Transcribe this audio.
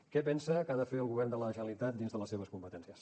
què pensa que ha de fer el govern de la generalitat dins de les seves competències